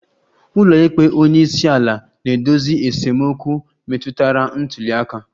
Ụlọikpe onye isi ala na-edozi esemokwu metụtara ntuli aka